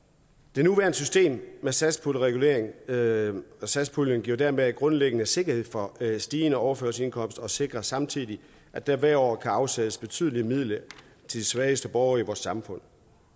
det nuværende system med satspuljen med satspuljen giver dermed grundlæggende sikkerhed for stigende overførselsindkomster og det sikrer samtidig at der hvert år kan afsættes betydelige midler til de svageste borgere i vores samfund